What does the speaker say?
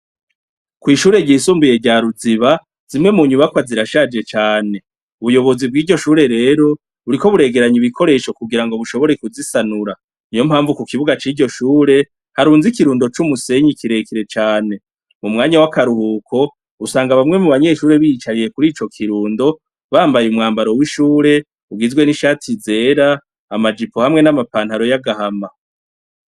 kw'ishure ryisumbuye rya Ruziba, zimwe mu nyubakwa zirashaje cane, ubuyobozi bwiryo shure rero buriko buregeranya ibikoresho kugira bushobore kuzisanura, niyo mpamvu ku kibuga ciryo shure harunze ikirundo c'umusenyi kirekire cane, mu mwanya wa karuhuko usanga bamwe mu banyeshure biyicariye kurico kirundo bambaye umwambaro w'ishure ugizwe n'ishati zera, amajipo hamwe n'amapantaro ya gahama.